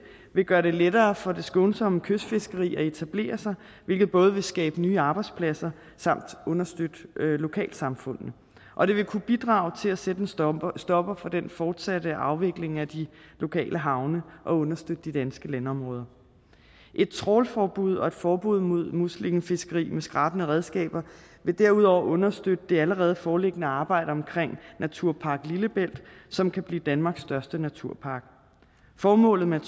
vil gøre det lettere for det skånsomme kystfiskeri at etablere sig hvilket både vil skabe nye arbejdspladser samt understøtte lokalsamfundene og det vil kunne bidrage til at sætte en stopper stopper for den fortsatte afvikling af de lokale havne og understøtte de danske landområder et trawlforbud og et forbud mod muslingefiskeri med skrabende redskaber vil derudover understøtte det allerede foreliggende arbejde omkring naturpark lillebælt som kan blive danmarks største naturpark formålet med